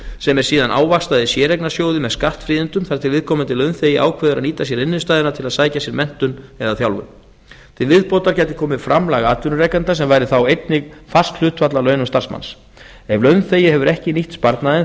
sem er síðan ávaxtað í séreignarsjóðum með skattfríðindum þar til viðkomandi launþegi ákveður að nýta sér innstæðuna til að sækja sér menntun eða þjálfun til viðbótar gæti þá komið framlag atvinnurekenda sem væri þá einnig fast hlutfall af launum starfsmanns ef launþegi hefur ekki nýtt sparnaðinn